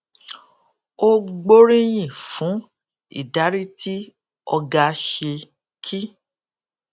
ó gbóríyìn fún ìdarí tí ọga ṣe kí